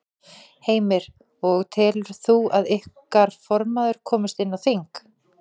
Heimir: Og telur þú að ykkar formaður komist inn á þing?